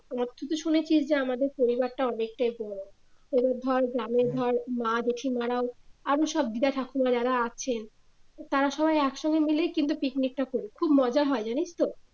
আর তুই তো শুনেছিস যে আমাদের পরিবার টা অনেকটাই পুরানো তাহলে ধর গ্রামের ধর মা পিসি মারাও আরো সব দিদা ঠাকুমা যারা আছেন তারা সবাই একসঙ্গে মিলে কিন্তু পিকনিক টা করি খুব হয় জানিস তো।